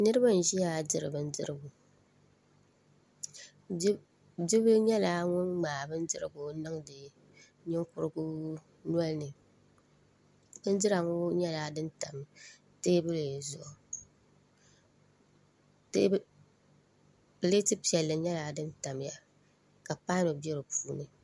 Niraba n ʒiya diri bindirigu bi bil nyɛla ŋun ŋmaai bindirigu niŋdi ninkurigu nolini bindira ŋo nyɛla din tam teebuli zuɣu pileeti piɛli nyɛla din tamya ka paanu bɛ di puuni